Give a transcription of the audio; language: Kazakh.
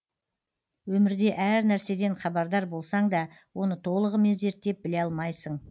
өмірде әр нәрседен хабардар болсаң да оны толығымен зерттеп біле алмайсың